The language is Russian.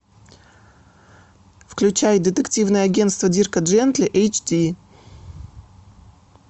включай детективное агентство дирка джентли эйч ди